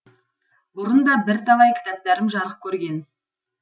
бұрын да бірталай кітаптарым жарық көрген